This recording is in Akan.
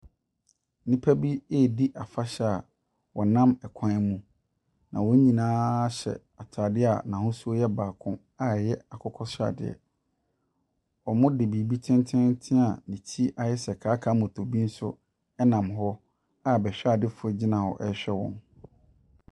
Nnipa bi ɛredi afahyɛ wɔ nam ɛkwan mu. Na wɔn nyinaa hyɛ ataadeɛ a n'ahosuo yɛ baako a ɛyɛ akokɔ sradeɛ. Wɔde biribi tententen a ne ti ayɛ sɛ kaakaamotobi nso ɛnam hɔ a bɛhwɛdefoɔ egyina hɔ ɛrehwɛ wɔn.